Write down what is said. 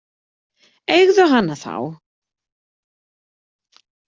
Eigðu hana þá.